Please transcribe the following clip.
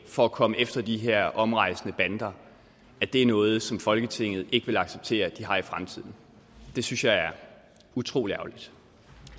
for at komme efter de her omrejsende bander er noget som folketinget ikke vil acceptere at de har i fremtiden det synes jeg er utrolig ærgerligt